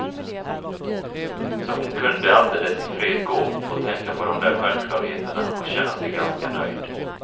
Så hon kunde alldeles ifred gå och tänka på de där självklarheterna och känna sig ganska nöjd.